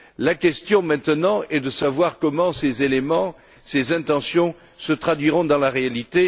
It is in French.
La question, maintenant, est de savoir comment ces éléments et ces intentions se traduiront dans la réalité.